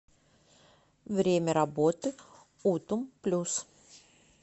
время работы утум плюс